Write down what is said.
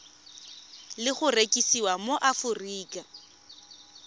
le go rekisiwa mo aforika